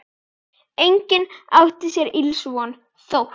Enginn átti sér ills von, þótt